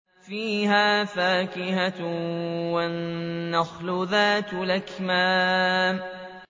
فِيهَا فَاكِهَةٌ وَالنَّخْلُ ذَاتُ الْأَكْمَامِ